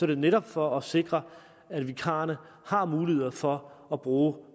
det netop for at sikre at vikarerne har mulighed for at bruge